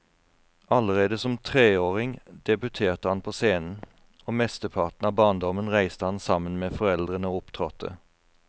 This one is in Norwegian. Allerede som treåring debuterte han på scenen, og mesteparten av barndommen reiste han sammen med foreldrene og opptrådte.